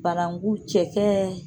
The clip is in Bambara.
Bananku cɛ kɛ